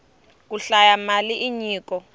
ku hlaya mali i nyiko